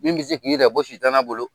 Min bɛ se k'i yɛrɛ bɔ sitana bolo.